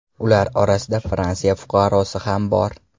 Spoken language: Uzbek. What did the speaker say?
Ular orasida Fransiya fuqarosi ham bor.